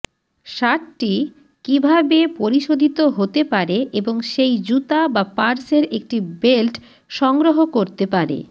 শার্টটি কীভাবে পরিশোধিত হতে পারে এবং সেই জুতা বা পার্সের একটি বেল্ট সংগ্রহ করতে পারে